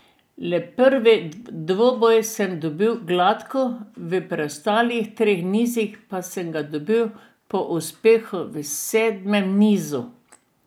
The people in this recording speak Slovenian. Le prvi dvoboj sem dobil gladko, v preostalih treh nizih pa sem ga dobil po uspehu v sedmem nizu.